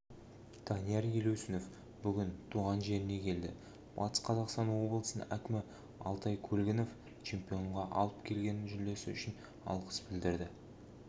данияр елеусінов бүгін туған жеріне келді батыс қазақстан облысының әкімі алтай көлгінов чемпионға алып келген жүлдесі үшін алғыс білдірді